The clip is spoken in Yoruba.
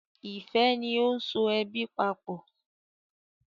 Ìfẹ ni o so ẹbí papọ.